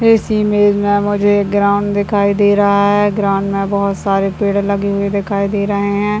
इस इमेज में मुझे ग्राउंड दिखाई दे रहा है ग्राउंड में बहुत सारे पेड़ लगे हुए दिखाई दे रहे है।